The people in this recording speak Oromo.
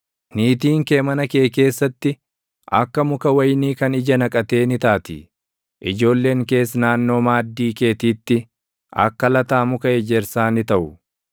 Niitiin kee mana kee keessatti, akka muka wayinii kan ija naqatee ni taati; ijoolleen kees naannoo maaddii keetiitti, akka lataa muka ejersaa ni taʼu.